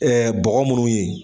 bɔgɔ munnu ye.